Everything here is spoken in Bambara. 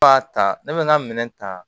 Ba ta ne bɛ n ka minɛn ta